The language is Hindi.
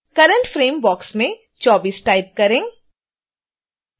current frame बॉक्स में 24 टाइप करें